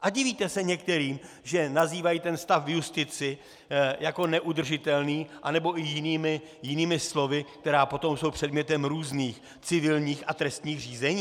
A divíte se některým, že nazývají ten stav v justici jako neudržitelný, anebo i jinými slovy, která potom jsou předmětem různých civilních a trestních řízení?